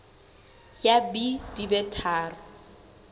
ya b di be tharo